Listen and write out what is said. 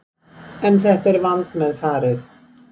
En þetta er vandmeðfarið